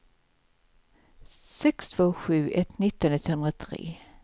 sex två sju ett nitton etthundratre